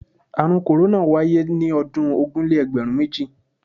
Àrùn korona wáyé ní ọdún ogún-lé-egberun-méjì.